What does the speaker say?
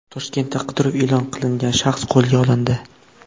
Toshkentda qidiruv e’lon qilingan shaxs qo‘lga olindi.